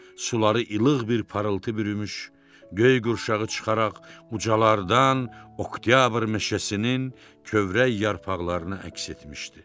Suları ilıq bir parıltı bürümüş, göy qurşağı çıxaraq ucalarda oktyabr meşəsinin kövrək yarpaqlarını əks etmişdi.